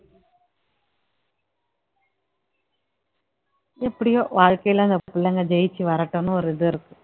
எப்படியோ வாழ்க்கையில அந்த பிள்ளைங்க ஜெயிச்சு வரட்டும்ன்னு ஒரு இது இருக்கும்